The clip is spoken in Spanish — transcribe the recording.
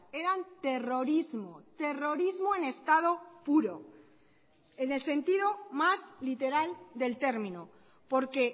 eran terrorismo terrorismo en estado puro en el sentido más literal del término porque